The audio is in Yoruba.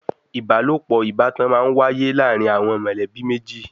Ìbálòpọ̀ ìbátan má ń wáyé láàrin àwọn mọ̀lẹ́bí méjì.